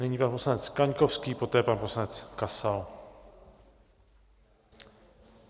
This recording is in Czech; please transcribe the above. Nyní pan poslanec Kaňkovský, poté pan poslanec Kasal.